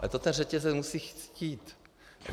Ale to ten řetězec musí chtít.